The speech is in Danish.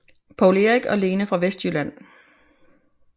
Poul Erik og Lene fra Vestjylland